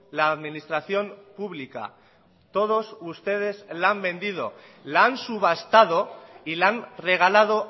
la administración pública todos ustedes la han vendido la han subastado y la han regalado